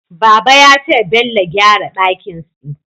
Baba ya taya Bello gyara dakin si